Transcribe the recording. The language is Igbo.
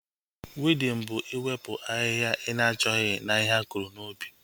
Wiidin bụ iwepụ ahịhịa ị na-achọghị na ihe akụrụ n'ubi